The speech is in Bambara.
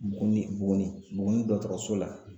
Buguni Buguni Buguni dɔgɔtɔrɔso la